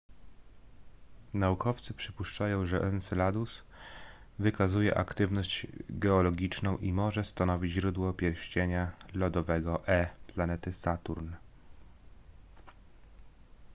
naukowcy przypuszczają że enceladus wykazuje aktywność geologiczną i może stanowić źródło pierścienia lodowego e planety saturn